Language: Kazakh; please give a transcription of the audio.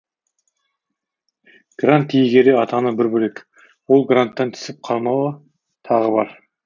грант иегері атану бір бөлек ол гранттан түсіп қалмау тағы бар